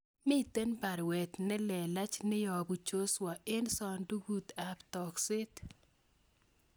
Miten baruet nelelach neyobu Joshua en sandugut ap tokset